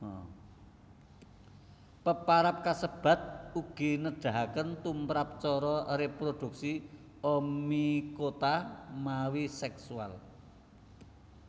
Peparab kasebat ugi nedahaken tumrap cara réprodhuksi Oomycota mawi seksual